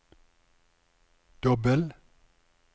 dobbel